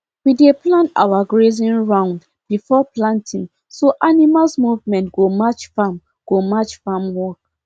we dey plan our grazing round before planting so animals movement go match farm go match farm work